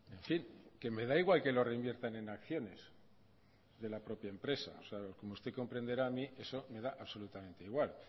en fin que me da igual que lo reinviertan en acciones de la propia empresa o sea como usted comprenderá a mí eso me da absolutamente igual